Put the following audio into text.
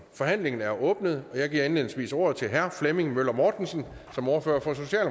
forhandlingen er åbnet og jeg giver indledningsvis ordet til herre flemming møller mortensen som ordfører